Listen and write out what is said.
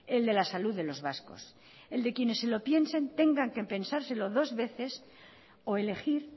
el de la salud de los vascos el de quienes se lo piensen tengan que pensárselo dos veces o elegir